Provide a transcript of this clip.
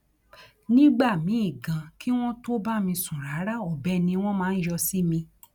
nígbà míín ganan kí wọn tóó bá mi sùn rárá ọbẹ ni wọn máa yọ sí mi